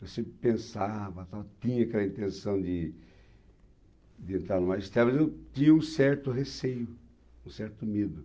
Eu sempre pensava e tal, tinha aquela intenção de de entrar no magistrado, mas eu tinha um certo receio, um certo medo.